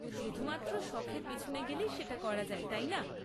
শুধুমাত্র শখের পিছনে গেলেই সেটা করা যায়, তাই না?